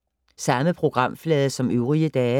Samme programflade som øvrige dage